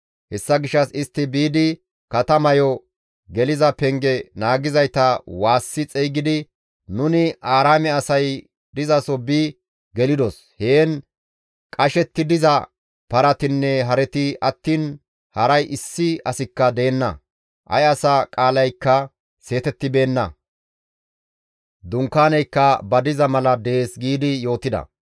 Hessa gishshas istti biidi katamayo geliza penge naagizayta waassi xeygidi, «Nuni Aaraame asay dizaso bi gelidos; heen qashetti diza paratinne hareti attiin haray issi asikka deenna; ay asa qaalaykka seetettibeenna; dunkaanaykka ba diza mala dees» giidi yootida.